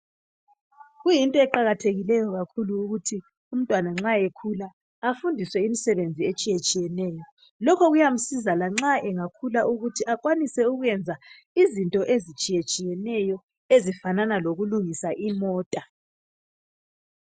Kuyinto eqakathekileyo kakhulu ukuthi umntwana nxa ekhula afundiswe imisebenzi etshiye tshiyeneyo lokho kuyamsiza lanxa engakhula ukuthi akwanise ukwenza izinto ezitshiye tshiyeneyo ezifanana lokulungisa imota.